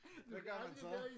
Hvad gør man så?